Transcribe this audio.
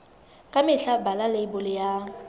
ka mehla bala leibole ya